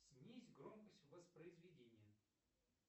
снизь громкость воспроизведения